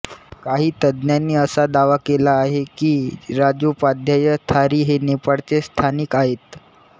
काही तज्ञांनी असा दावा केला आहे की राजोपाध्याय थारी हे नेपाळचे स्थानिक आहेत